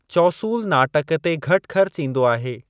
चौसूलु नाटक ते घटि ख़र्चु ईंदो आहे।